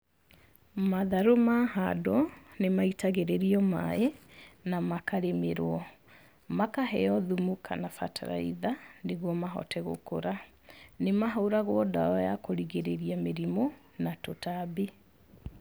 Matharũ mahandwo nĩmaitagĩrĩrio maĩ na makarĩmĩrwo, makaheo thumu kana bataraitha, nĩguo mahote gũkũra. Nĩmahũragwo ndawa ya kũrigĩrĩria mĩrimũ na tũtambi.